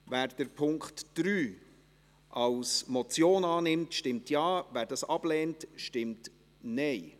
Wer die Ziffer 3 als Motion annimmt, stimmt Ja, wer dies ablehnt, stimmt Nein.